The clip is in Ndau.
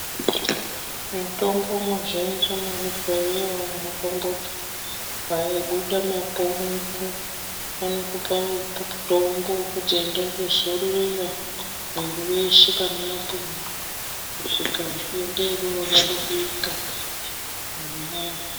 Mutombo muzhinji muzvibhedhlera umo tomboti wabuda mapundu anokupa mutombo wekuti enda undozorera mwiri weshe pane mapundu kusvika denda iroro radarika